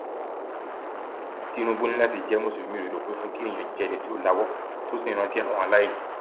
tinúbù ní láti jẹ mùsùlùmí òdodo pé fún kí èèyàn jẹ ẹni tó lawọ tó sì ń rántí àwọn aláìní